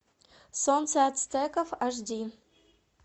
солнце ацтеков аш ди